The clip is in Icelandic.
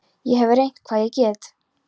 Ég hef reynt hvað ég get.